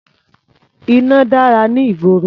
Iná dára ní ìgboro.